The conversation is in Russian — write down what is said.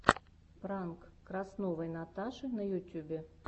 пранк красновой наташи на ютюбе